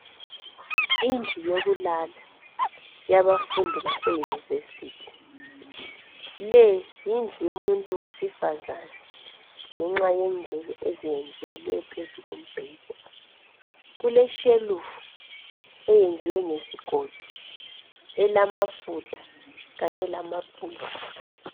Indlu yokulala yabafundi base yunivesithi le yindlu yomuntu wesifazana ngenxa yengubo eziyendlelwe phezu kombheda kule shelufu eyenziwe ngesigodo elamafutha kanye lamabhuku.